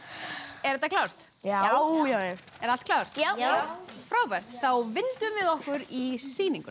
er þetta klárt já já er allt klárt já já þá vindum við okkur í sýninguna